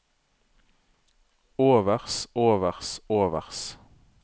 overs overs overs